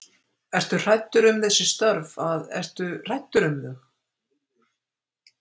Ertu hræddur um þessi störf að, ertu hræddur um þau?